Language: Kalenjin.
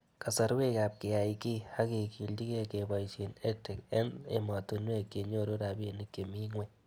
Kasarwek ab keyai kiy ak kekilchikei kepoishe EdTech eng' ematinwek chenyoru rabinik chemii ng'weny